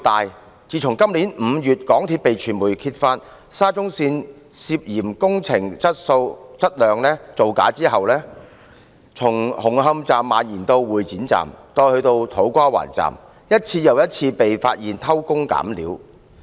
自從港鐵公司在今年5月被傳媒揭發沙中線工程質量涉嫌造假後，事件從紅磡站蔓延至會展站，以至土瓜灣站，一次又一次被發現偷工減料。